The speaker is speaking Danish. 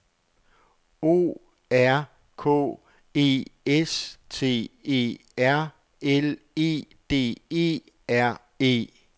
O R K E S T E R L E D E R E